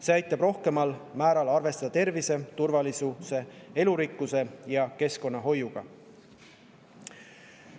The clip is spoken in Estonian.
See aitab rohkemal määral arvestada tervise, turvalisuse, elurikkuse ja keskkonnahoiuga.